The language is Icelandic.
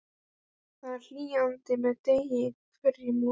Það hlýnaði með degi hverjum og